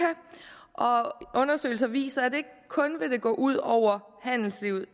og undersøgelser viser at det ikke kun vil gå ud over handelslivet